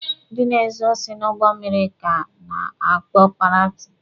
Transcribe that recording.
Ndị na-ezu osi n'ụgbọ mmịrị ka a na-akpọ paireti.